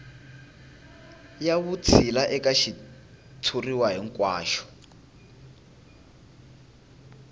ya vutshila eka xitshuriwa hinkwaxo